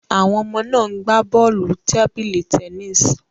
Àwọn ọmọ náà ń gbá bọ́ọ̀lù tábìlì tennis